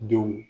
Denw